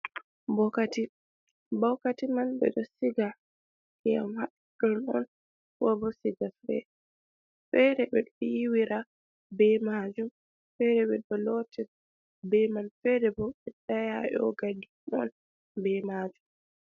Bokati, bokati man ɓeɗo siga keyam haɗon on ko bo siga fe fede ɓeɗo yiwira be majum fede ɓe ɗon lotten be man fede bo ɓe dayayogadi on be majum.